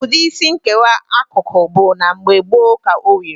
Ụdị Isí nkewa akụkụ bụ na mgbe gboo ka o wiri.